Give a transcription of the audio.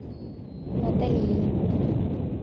наталии